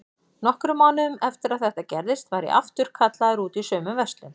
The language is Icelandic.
Nokkrum mánuðum eftir að þetta gerðist var ég aftur kallaður út í sömu verslun.